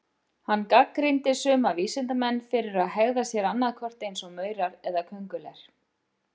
Hann gagnrýndi suma vísindamenn fyrir að hegða sér annað hvort eins og maurar eða köngulær.